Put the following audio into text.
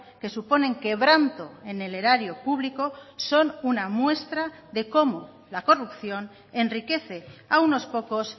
que suponen quebranto en el erario público son una muestra de cómo la corrupción enriquece a unos pocos